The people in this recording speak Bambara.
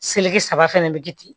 saba fɛnɛ bɛ kɛ ten